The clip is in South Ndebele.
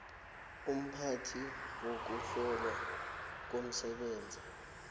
umphathi wokuhlolwa komsebenzi